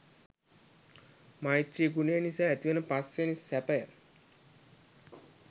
මෛත්‍රි ගුණය නිසා ඇතිවන පස්වැනි සැපය